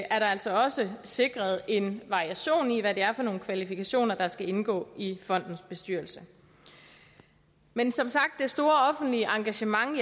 altså også sikret en variation i hvad det er for nogle kvalifikationer der skal indgå i fondens bestyrelse men som sagt stiller det store offentlige engagement